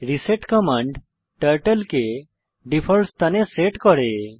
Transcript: reset command turtle কে default স্থানে set করে